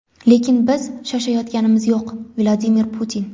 lekin biz shoshayotganimiz yo‘q – Vladimir Putin.